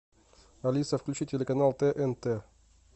алиса включи телеканал тнт